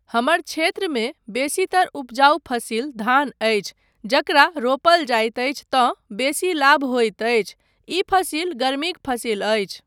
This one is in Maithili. हमर क्षेत्रमे बेसीतर उपजाउ फसिल धान अछि जकरा रोपल जाइत अछि तँ बेसी लाभ होइत अछि, ई फसिल गर्मीक फसिल अछि।